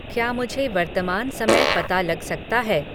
क्या मुझे वर्त्तमान समय पता लग सकता है